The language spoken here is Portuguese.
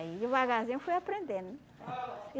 Aí, devagarzinho, fui aprendendo.